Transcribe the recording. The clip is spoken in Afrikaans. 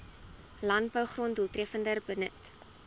landbougrond doeltreffender benut